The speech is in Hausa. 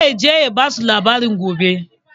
Zai je ya basu labari gobe